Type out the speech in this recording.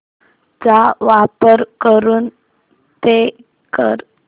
चा वापर करून पे कर